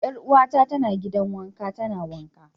Yar'uwata tana gidan wanka tana wanka.